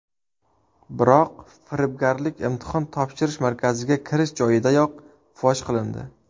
Biroq firibgarlik imtihon topshirish markaziga kirish joyidayoq fosh qilindi.